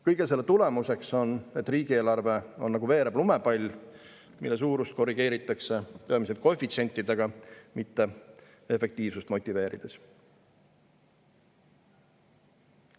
Kõige selle tulemuseks on, et riigieelarve on nagu veerev lumepall, mille suurust korrigeeritakse peamiselt koefitsientidega, mitte efektiivsust motiveerides.